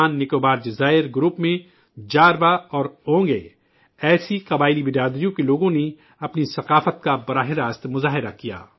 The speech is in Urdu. جزائر انڈمان اور نکوبار میں، جاروا اور اونگے، ایسی قبائلی برادریوں کے لوگوں نے اپنی ثقافت کا شاندار مظاہرہ کیا